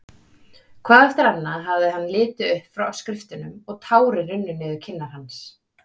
Hvað eftir annað hafði hann litið upp frá skriftunum og tárin runnið niður kinnar hans.